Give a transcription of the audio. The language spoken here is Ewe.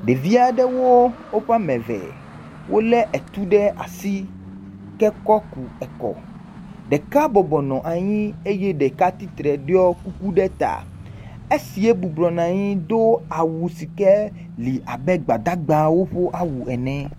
Ɖevi aɖewo woƒe ame eve. Wolé etu ɖe asi ke kɔ ku ekɔ. Ɖeka bɔbɔ nɔ anyi eye ɖeka titre ɖiɔ kuku ɖe ta. Esie bɔbɔ nɔ anyi do awu si ke li abe Gbadagbawo ƒe awu ene.